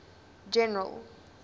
general